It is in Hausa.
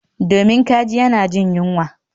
Domin kaji yana jin yunwa